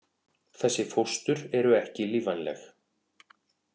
Þessi fóstur eru ekki lífvænleg.